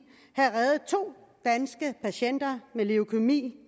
havde reddet to danske patienter med leukæmi